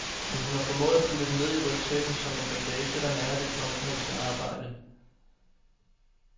Men hun har formået at putte dem ned i rygsækken som en bagage, der nærer det kunstneriske arbejde.